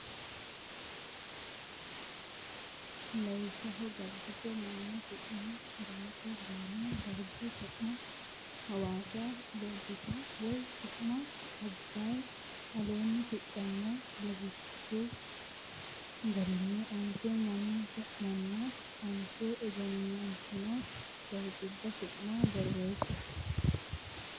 Lawishsha Gabbiso mannu su ma Daaite Boona dargu su ma Hawaasa Loggita way su ma Abbay Aleenni shiqino lawishshi garinni onte mannu su manna onte egennantino dargubba su ma borreesse.